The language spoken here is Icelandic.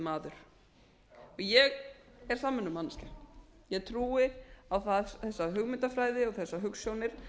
maður ég er samvinnumanneskja ég trúi á þessa hugmyndafræði og þessar hugsjónir